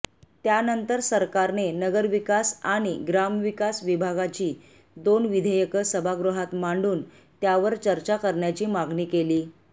त्यानंतर सरकारने नगरविकास आणि ग्रामविकास विभागाची दोन विधेयके सभागृहात मांडून त्यावर चर्चा करण्याची मागणी केली